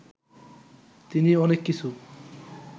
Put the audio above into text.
তিনি অনেক কিছু